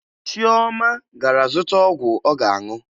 Chioma gara zụta ọgwụ ọ ga-aṅụ